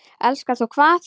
Elskar þú hvað?